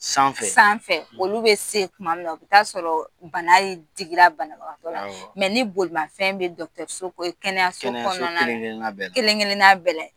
Sanfɛ sanfɛ olu bɛ se kuma min na, o bi t'a sɔrɔ bana ye digira banatɔ la ni bolifɛn bɛ kɛnɛyaso kɔnɔna, kɛnɛyaso kelen kelen na bɛɛ la.